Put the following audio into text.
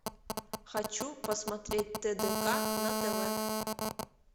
хочу посмотреть тдк на тв